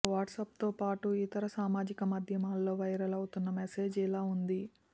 ఇక వాట్సాప్తో పాటు ఇతర సామాజిక మాధ్యమాల్లో వైరల్ అవుతున్న మెసేజ్ ఇలా ఉంది